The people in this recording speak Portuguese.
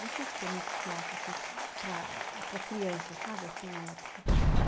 Não sei se tinha muito teatro, assim, para para criança, sabe, assim, na época.